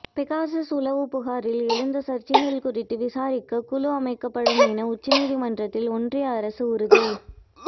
Pegasus உளவு புகாரில் எழுந்த சர்ச்சைகள் குறித்து விசாரிக்க குழு அமைக்கப்படும் என உச்சநீதிமன்றத்தில் ஒன்றிய அரசு உறுதி